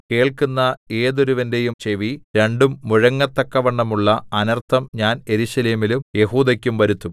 കേൾക്കുന്ന ഏതൊരുവന്റെയും ചെവി രണ്ടും മുഴങ്ങത്തക്കവണ്ണമുള്ള അനർത്ഥം ഞാൻ യെരൂശലേമിനും യെഹൂദെക്കും വരുത്തും